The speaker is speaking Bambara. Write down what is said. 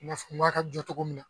N y'a fɔ n ko a ka jɔ cogo min na.